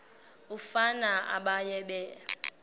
umfana baye bee